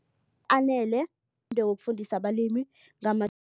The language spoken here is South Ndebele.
Anele ngewokufundisa abalimi